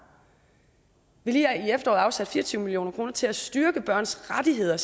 vi har lige her i efteråret afsat fire og tyve million kroner til at styrke børns rettigheder